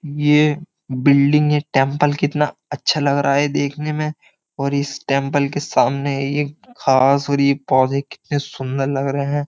ये बिल्डिंग ये टेंपल कितना अच्छा लग रहा है देखने में और इस टेंपल के सामने ये घास और ये पौधे कितने सुंदर लग रहे हैं।